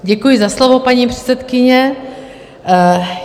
Děkuji za slovo, paní předsedkyně.